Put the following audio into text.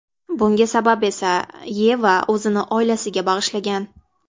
Bunga sabab esa Yeva o‘zini oilasiga bag‘ishlagan.